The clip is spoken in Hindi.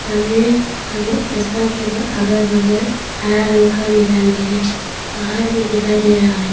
आगे रास्ता के अगल बगल हरा रंग का मैदान भी है पहाड़ भी दिखाई दे रहा है।